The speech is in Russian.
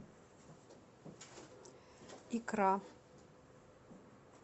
икра